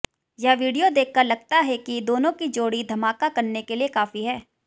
यह वीडियो देखकर लगता है कि दोनों की जोड़ी धमाका करने के लिए काफी है